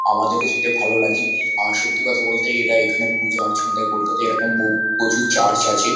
আমাদেরও যেতে ভালো লাগে। আর সত্যি কথা বলতে এরা এখানে পুজো-আর্চন দেয়। কলকাতায় এরকম ব প্রচুর চার্চ আছে।